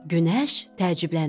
Günəş təəccübləndi.